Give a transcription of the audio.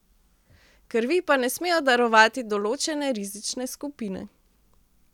Krvi pa ne smejo darovati določene rizične skupine.